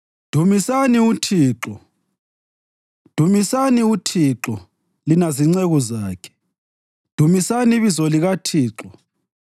Dumisani uThixo. Dumisani uThixo, lina zinceku zakhe, dumisani ibizo likaThixo.